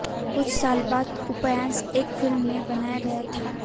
कुछ साल बाद उपन्यास एक फिल्म में बनाया गया था